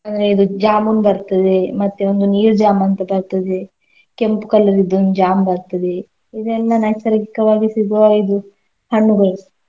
ಅಂದ್ರೆ ಇದು ಜಾಮೂನ್ ಬರ್ತದೆ ಮತ್ತೆ ಒಂದು ನೀರ್ ಜಾಮ್ ಅಂತ ಬರ್ತದೆ ಕೆಂಪ್ colour ದೊಂದ್ ಜಾಮ್ ಬರ್ತದೆ. ಇದೆಲ್ಲಾ ನೈಸರ್ಗಿಕವಾಗಿ ಸಿಗುವ ಇದು ಹಣ್ಣುಗಳು.